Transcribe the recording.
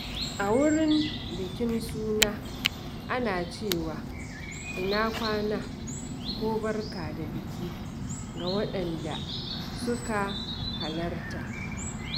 A wurin bikin suna, akan ce "Ina kwana" ko "Barka da aiki" ga wadanda suka halarta.